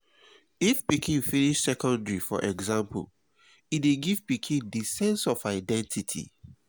if pikin finish secondary for example e dey give pikin di sense of identity